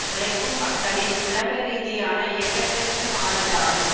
உழைக்கும் மக்களின் உலகரீதியான இயக்கத்திற்குமானதாகும்